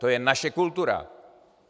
To je naše kultura.